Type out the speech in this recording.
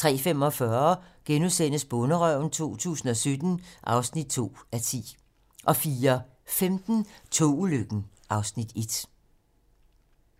03:45: Bonderøven 2017 (2:10)* 04:15: Togulykken (Afs. 1)